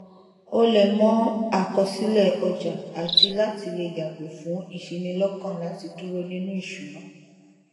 ó lẹ mọ àkọsílẹ ọjà àti láti lè yàgò fún ìṣinilọkàn láti dúró nínú ìṣúná